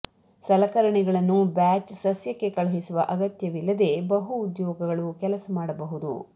ಸಲಕರಣೆಗಳನ್ನು ಬ್ಯಾಚ್ ಸಸ್ಯಕ್ಕೆ ಕಳುಹಿಸುವ ಅಗತ್ಯವಿಲ್ಲದೆ ಬಹು ಉದ್ಯೋಗಗಳು ಕೆಲಸ ಮಾಡಬಹುದು